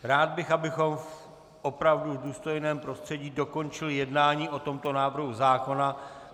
Rád bych, abychom opravdu v důstojném prostředí dokončili jednání o tomto návrhu zákona.